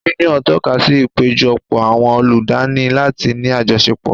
Yúníọ̀n tọ́kasí ìpéjọpọ̀ àwọn ọlọ́danni láti ní àjọṣepọ̀